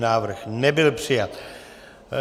Návrh nebyl přijat.